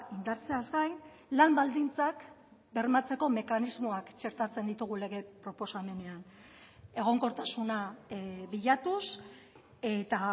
indartzeaz gain lan baldintzak bermatzeko mekanismoak txertatzen ditugu lege proposamenean egonkortasuna bilatuz eta